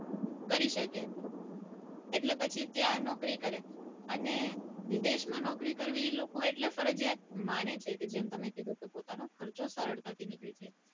કરી શકે એટલે પછી ત્યાં નોકરી કરે અને જે વિદેશમાં નોકરી કરવી એટલે એ ફરિજયાત માને છે કે જેમ તમે કીધું પોતાનો ખર્ચો સરળતાથી નીકળી જાય